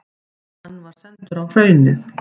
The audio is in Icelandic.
Hann var sendur á Hraunið.